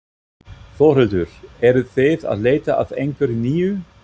Þórhildur: Eruð þið að leita að einhverju nýju?